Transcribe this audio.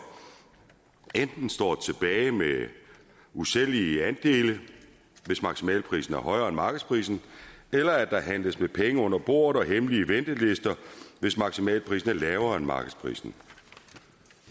står tilbage med usælgelige andele hvis maksimalprisen er højere end markedsprisen eller at der handles med penge under bordet og hemmelige ventelister hvis maksimalprisen er lavere end markedsprisen